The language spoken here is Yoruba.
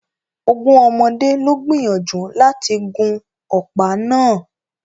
Ogún ọmọdé lo gbìyànjú láti gun ọ̀pá náà